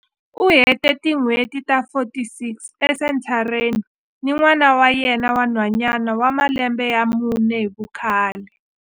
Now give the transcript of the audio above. U hete tin'hweti ta 46 esenthareni ni n'wana wa yena wa nhwanyana wa malembe ya mune hi vukhale.